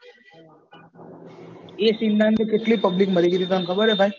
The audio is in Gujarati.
એ સીનનામ થી કેટલી public મરી ગયેલી તને ખબર એ ભાઈ